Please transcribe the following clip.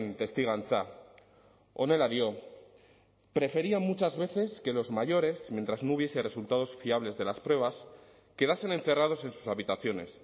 testigantza honela dio prefería muchas veces que los mayores mientras no hubiese resultados fiables de las pruebas quedasen encerrados en sus habitaciones